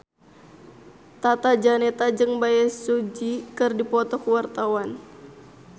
Tata Janeta jeung Bae Su Ji keur dipoto ku wartawan